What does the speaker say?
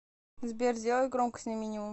сбер сделай громкость на минимум